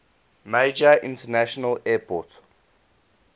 major international airport